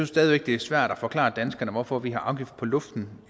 stadig væk det er svært at forklare danskerne hvorfor vi har afgift på luften